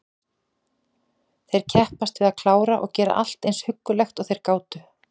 Þeir kepptust við að klára og gera allt eins huggulegt og þeir gátu.